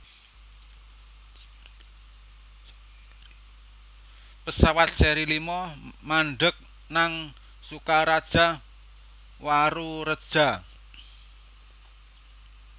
pesawat seri lima mandheg nang Sukaraja Warureja